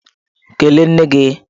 Kelee nne gi!